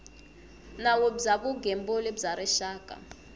nawu bya vugembuli bya rixaka